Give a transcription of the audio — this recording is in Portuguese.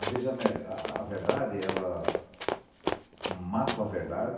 Às vezes a ver, a verdade ela mata uma verdade